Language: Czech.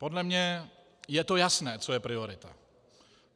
Podle mě je to jasné, co je priorita.